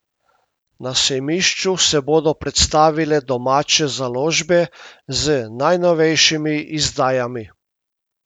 Na sejmišču se bodo predstavile domače založbe z najnovejšimi izdajami.